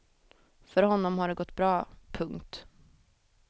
För honom har det gått bra. punkt